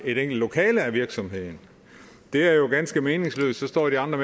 lokale i virksomheden det er jo ganske meningsløst så står de andre